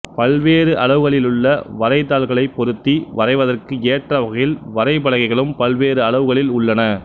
பல்வேறு அளவுகளிலுள்ள வரை தாள்களைப் பொருத்தி வரைவதற்கு ஏற்ற வகையில் வரைபலகைகளும் பல்வேறு அளவுகளில் உள்ளன